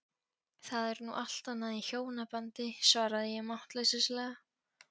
Það er nú allt annað í hjónabandi, svaraði ég máttleysislega.